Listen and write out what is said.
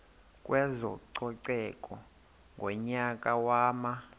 kwezococeko ngonyaka wama